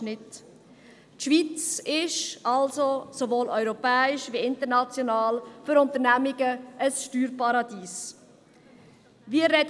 Die Schweiz ist sowohl europaweit als auch international ein Steuerparadies für Unternehmungen.